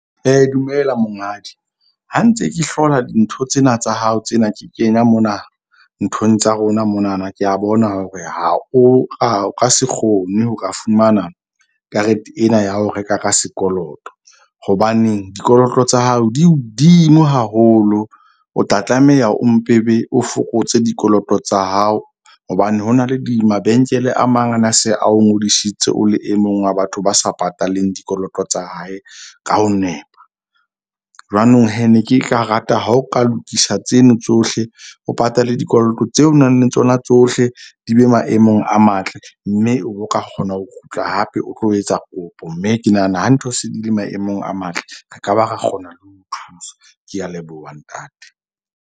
Dumela monghadi ha ntse ke hlola dintho tsena tsa hao tsena ke kenya mona nthong tsa rona monana. Ke a bona hore ha o ka o ka se kgone ho ka fumana karete ena ya ho reka ka sekoloto. Hobaneng dikoloto tsa hao di hodimo haholo. O tla tlameha o mpe o be o fokotse dikoloto tsa hao hobane ho na le di mabenkele. A mang a na se a o ngodisitse o le e mong wa batho ba sa pataleng dikoloto tsa hae ka ho nepa. Jwanong ne ke ka rata ha o ka lokisa tseno tsohle, o patale dikoloto tseo o nang le tsona tsohle. Di be maemong a matle, mme o ka kgona ho kgutla hape o tlo etsa kopo, mme ke nahana ha ntho se di le maemong a matle. Re ka ba ra kgona ho thusa. Ke a leboha, ntate.